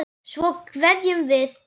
Svo kveðjum við.